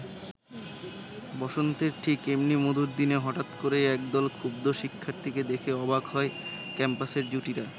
বসন্তের ঠিক এমনি মধুর দিনে হঠাৎ করেই একদল ক্ষুব্ধ শিক্ষার্থীকে দেখে অবাক হয় ক্যাম্পাসের জুটিরা।